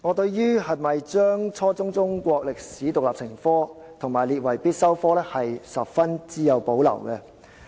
對於應否規定初中中國歷史獨立成科及將之列為必修科，我很有保留。